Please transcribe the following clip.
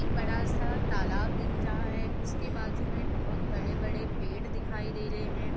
इक बड़ा सा तालाब दिख रहा है उसके बाजु मै बहुत बड़े-बड़े पेड़ दिखाई दे रहे है।